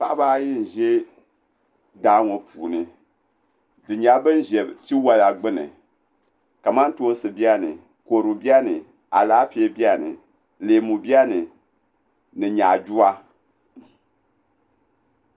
Paɣaba ayi n ʒɛ daa ŋo puuni bi nyɛla bin ʒɛ tiwola gbuni kamantoosi biɛni kodu biɛni Alaafee biɛni leemu biɛni ni nyaaduwa